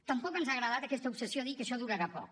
tampoc ens ha agradat aquesta obsessió de dir que això durarà poc